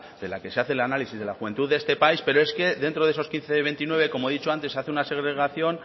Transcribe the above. de la que se hace el análisis de la juventud de este país pero es que dentro de esos quince veintinueve como he dicho antes se hace una segregación